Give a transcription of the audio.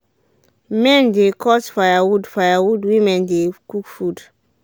men dey cut firewood firewood women dey cook food.